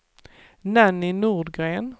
Nanny Nordgren